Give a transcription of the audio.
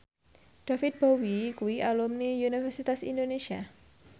David Bowie kuwi alumni Universitas Indonesia